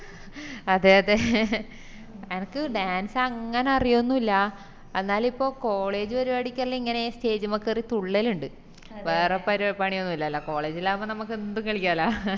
അതെ അതെ എനക്ക് dance അങ്ങനെ അറിയോന്നുല്ല എന്നാലിപ്പോ college പരിപാടിക്കേല്ലോ ഇങ്ങനെ stage മ്മെ കേറി തുള്ളലിൻഡ് വേറെ പരിപ പണിയൊന്നുല്ലലോ college ഇൽ ആവുമ്പൊ നമുക്ക് എന്തും കളിക്കാലോ